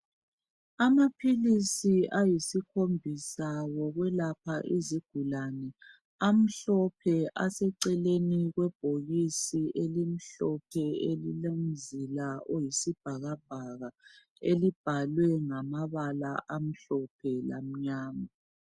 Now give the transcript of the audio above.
Amaphilisi ayisikhombisa ngawokwelapha izigulane, amhlophe, aseceleni kwebhokisi elimhlophe elilomzila oyisibhakabhaka elibhalwe ngamabala amhlophe lamnyama.